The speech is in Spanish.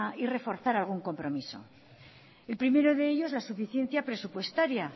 y reforzar algún compromiso el primero de ellos la suficiencia presupuestaria